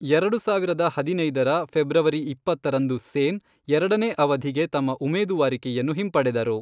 ಎರಡು ಸಾವಿರದ ಹದಿನೈದರ, ಫೆಬ್ರವರಿ ಇಪ್ಪತ್ತರಂದು ಸೇನ್, ಎರಡನೇ ಅವಧಿಗೆ ತಮ್ಮ ಉಮೇದುವಾರಿಕೆಯನ್ನು ಹಿಂಪಡೆದರು.